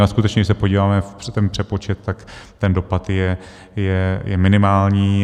Ale skutečně, když se podíváme na ten přepočet, tak ten dopad je minimální.